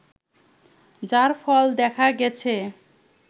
যার ফল দেখা গেছে